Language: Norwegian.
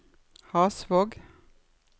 Hasvåg